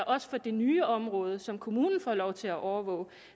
også for det nye område som kommunen får lov til at overvåge